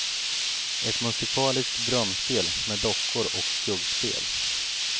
Ett musikaliskt drömspel med dockor och skuggspel.